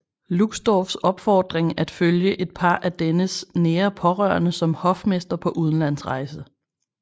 Luxdorphs opfordring at følge et par af dennes nære pårørende som hofmester på udenlandsrejse